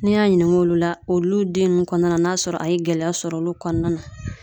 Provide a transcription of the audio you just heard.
Ne y'a ɲininka olu la , olu den nunnu kɔnɔna na n'a sɔrɔ a ye gɛlɛya sɔrɔ olu kɔnɔna na.